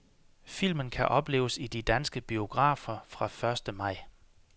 Filmen kan opleves i de danske biografer fra første maj.